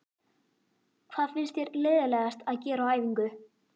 Hvað finnst þér leiðinlegast að gera á æfingu?